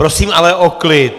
Prosím ale o klid!